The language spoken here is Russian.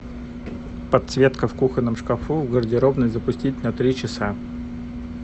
подсветка в кухонном шкафу в гардеробной запустить на три часа